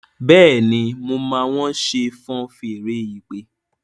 Béèni mọ má wón ṣe fọ́n Fèèrè ìpè?